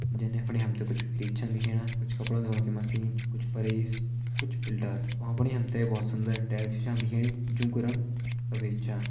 जन यफणि हम त कुछ फ्रिज छन दिखेणा कुछ कपड़ो धोणे मशीन कुछ परेश कुछ फ़िल्टर । भ्वाँ फुणि हम त बहोत सुन्दर टाइल भी छ दिखेणी जोंकु रंग सफ़ेद छ।